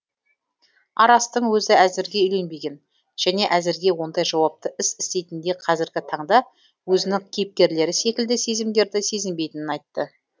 арастың өзі әзірге үйленбеген және әзірге ондай жауапты іс істейтіндей қазіргі таңда өзінің кейіпкерлері секілді сезімдерді сезінбейтінін айтты